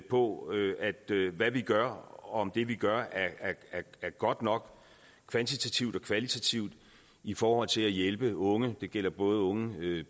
på hvad vi gør og på om det vi gør er godt nok kvantitativt og kvalitativt i forhold til at hjælpe unge det gælder både unge